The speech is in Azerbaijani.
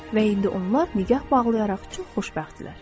Və indi onlar nikah bağlayaraq çox xoşbəxtdirlər.